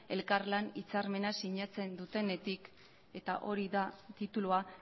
elkarlan hitzarmena sinatzen dutenetik eta hori da titulua